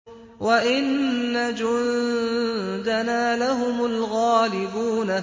وَإِنَّ جُندَنَا لَهُمُ الْغَالِبُونَ